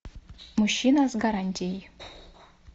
мужчина с гарантией